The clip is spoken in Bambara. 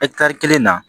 kelen na